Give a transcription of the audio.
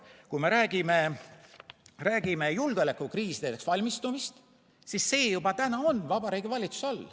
Kui me räägime julgeolekukriisideks valmistumisest, siis see juba täna on Vabariigi Valitsuse all.